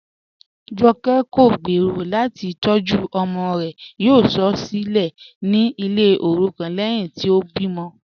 Jọ̀kẹ̀ kọ̀ gbẹ́rọ̀ láti tọ̀jú ọmọ rẹ̀, yóò sọ̀ ọ́ silẹ̀ ní ilẹ̀ orúkọ̀n lẹ́hìn tí o bí mọ̀.